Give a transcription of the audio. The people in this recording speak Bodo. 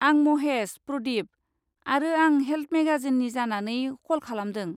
आं महेश प्रदीप, आरो आं हेल्थ मेगाजिननि जानानै कल खालामदों।